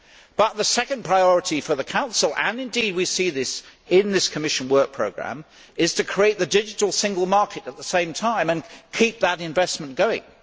But the second priority for the Council and indeed we see this in this Commission work programme is to create the digital single market at the same time and keep that investment going.